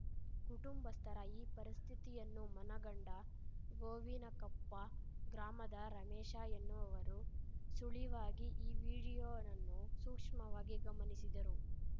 ಕುಟುಂಬಸ್ಥರ ಈ ಪರಿಸ್ಥಿತಿಯನ್ನು ಮನಗಂಡ ಗೋವಿನಕೊಪ್ಪ ಗ್ರಾಮದ ರಮೇಶ ಎನ್ನುವವರು ಸುಳಿವಾಗಿ ಈ ವಿಡಿಯೋವನ್ನು ಸೂಕ್ಷ್ಮವಾಗಿ ಗಮನಿಸಿದರು